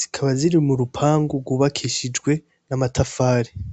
zikaba ziri m'urupangu rwubakishijwe amatafari.